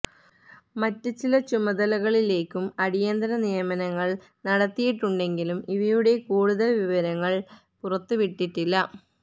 മറ്റ് ചില ചുമതലകളിലേക്കും അടിയന്തര നിയമനങ്ങള് നടത്തിയിട്ടുണ്ടെങ്കിലും ഇവയുടെ കൂടുതല് വിവരങ്ങള് പുറത്തുവിട്ടിട്ടില്ല